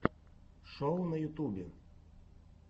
шоу на ютубе